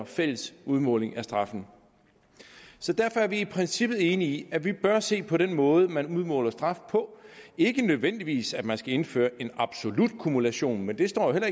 fælles udmåling af straffen så derfor er vi i princippet enige i at vi bør se på den måde man udmåler straf på ikke nødvendigvis sådan at man skal indføre en absolut kumulation men det står der